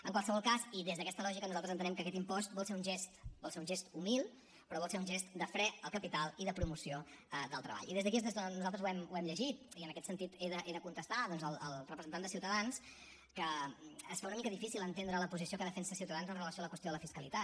en qualsevol cas i des d’aquesta lògica nosaltres entenem que aquest impost vol ser un gest vol ser un gest humil però vol ser un gest de fre al capital i de promoció del treball i des d’aquí és d’on nosaltres ho hem llegit i en aquest sentit he de contestar doncs al representant de ciutadans que es fa una mica difícil entendre la posició que defensa ciutadans amb relació a la qüestió de la fiscalitat